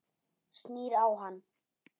Snýr á hann.